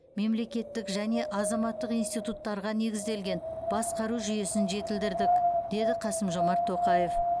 мемлекеттік және азаматтық институттарға негізделген басқару жүйесін жетілдірдік деді қасым жомарт тоқаев